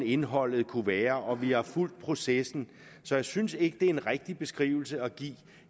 indholdet kunne være og vi har fulgt processen så jeg synes ikke det er en rigtig beskrivelse at give